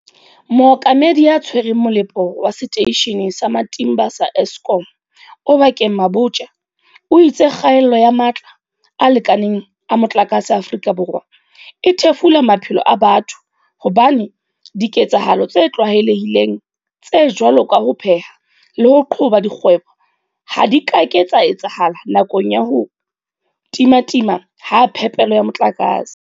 Mookamedi ya Tshwereng Mole po wa Seteishene sa Matimba sa Eskom Oba keng Mabotja o itse kgaello ya matla a lekaneng a motlakase Aforika Borwa e thefula maphelo a batho hobane diketsahalo tse tlwaele hileng tse jwalo ka ho pheha le ho qhoba dikgwebo ha di ka ke tsa etsahala nakong ya ho timatima ha phepelo ya motlakase.